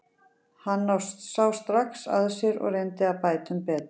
Hann sá strax að sér og reyndi að bæta um betur.